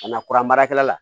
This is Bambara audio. Ka na kuran baarakɛla la